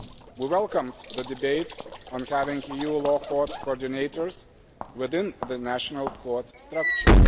We welcomed the debate on having EU law court coordinators within the national court structure.